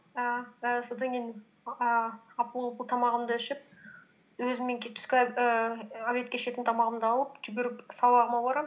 ііі содан кейін ііі апыл ғұпыл тамағымды ішіп өзіммен түскі ііі обедке ішетін тамағымды алып жүгіріп сабағыма барамын